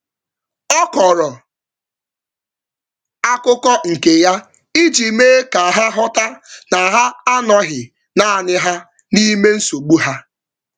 Ọ kọrọ akụkọ nke ya iji mee ka ha ghọta na ha anọghị naanị ha n;ime nsogbu ha.